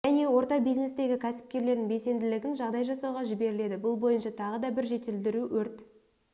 және орта бизнестегі кәсіпкерлердің белсенділігін жағдай жасауға жіберіледі бұл бойынша тағы да бір жетілдіру өрт